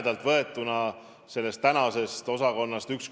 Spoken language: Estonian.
Nagu te ütlesite, üks osa liigub ühte ministeeriumisse ja teine osa teise ministeeriumisse.